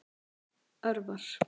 Örvar